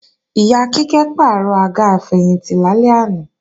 Ìyá Kíkẹ́ pàrọ̀ àga àfẹ̀yìntì lálẹ́ àná